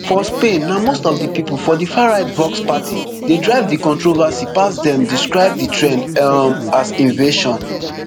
for spain na most of di pipo for di farright vox party dey drive di controversy pass dem describe di trend um as invasion